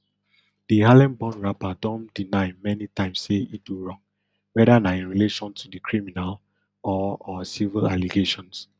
di harlemborn rapper don deny many times say e do wrong whether na in relation to di criminal or or civil allegations